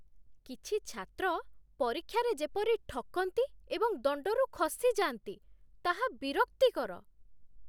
କିଛି ଛାତ୍ର ପରୀକ୍ଷାରେ ଯେପରି ଠକନ୍ତି ଏବଂ ଦଣ୍ଡରୁ ଖସିଯାଆନ୍ତି, ତାହା ବିରକ୍ତିକର